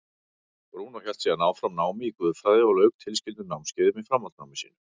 Brúnó hélt síðan áfram námi í guðfræði og lauk tilskildum námskeiðum í framhaldsnámi sínu.